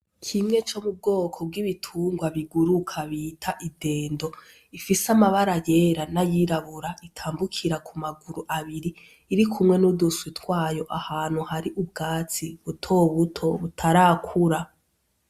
Kimwe co mu bwoko bw’ibitungwa biguruka bita idendo ifise amabara yera n’ayirabura , itambukira ku maguru abiri. Irikumwe n’uduswi twayo ahantu hari ubwatsi butobuti butarakura.